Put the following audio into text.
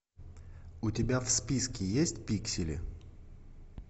у тебя в списке есть пиксели